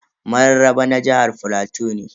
Mararraba na jihar plateau ne.